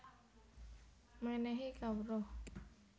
Menéhi Kawruh